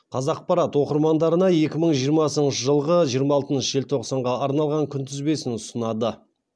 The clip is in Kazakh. қазақпарат оқырмандарына екі мың жиырмасыншы жылғы жиырма алтыншы желтоқсанға арналған күнтізбесін ұсынады